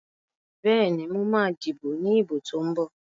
Bẹ́ẹ̀ni, mo ma díbò ní ìbò tó ń bọ̀